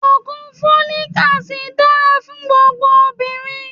Ògùn Fólíkí asidì dára fún gbogbo obìnrin.